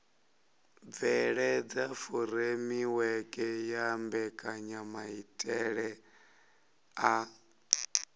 bveledza furemiweke ya mbekanyamaitele a